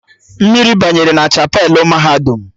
Mmiri banyere na chapelụ mahadum